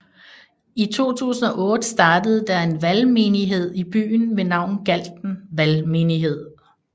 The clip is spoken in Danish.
I 2008 startede der en valgmenighed i byen ved navn Galten Valgmenighed